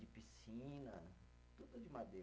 de piscina, tudo de madeira.